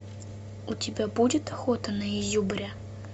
у тебя будет охота на изюбря